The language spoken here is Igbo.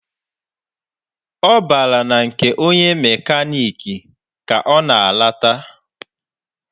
Ọ bara na nke onye mekaniki ka ọ na-alata.